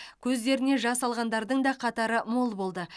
көздеріне жас алғандардың да қатары мол болды